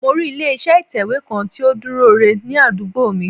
Mo rí ilé iṣẹ́ ìtẹ̀wé kan tó dúró ire ní àdúgbò mi